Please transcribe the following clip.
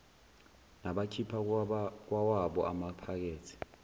nabakhipha kwawabo amaphakethe